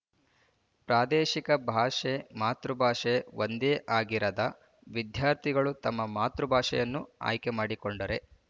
ಪ್ರಾದೇಶಿಕ ಭಾಷೆ ಮಾತೃಭಾಷೆ ಒಂದೇ ಆಗಿರದ ವಿದ್ಯಾರ್ಥಿಗಳು ತಮ್ಮ ಮಾತೃ ಭಾಷೆಯನ್ನು ಆಯ್ಕೆಮಾಡಿಕೊಂಡರೆ